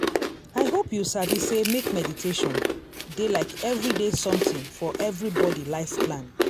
i hope you sabi sey make meditation dey like everyday something for everybody life plan.